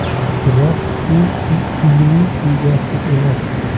Biroq u uyning egasi emas.